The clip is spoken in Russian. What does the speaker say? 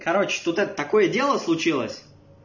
короче тут это такое дело случилось